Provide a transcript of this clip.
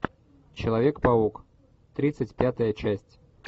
человек паук тридцать пятая часть